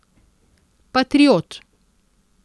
Patriot.